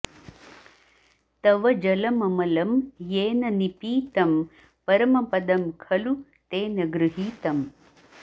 तव जलममलं येन निपीतं परमपदं खलु तेन गृहीतम्